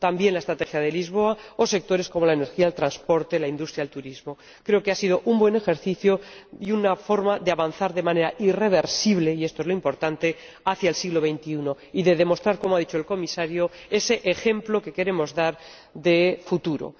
la Estrategia de Lisboa o sectores como la energía, el transporte, la industria, el turismo. Creo que ha sido un buen ejercicio y una forma de avanzar de manera irreversible, y esto es lo importante, hacia el siglo XXI y de demostrar, como ha dicho el Comisario, ese ejemplo que queremos dar de futuro.